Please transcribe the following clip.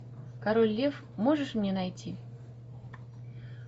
король лев можешь мне найти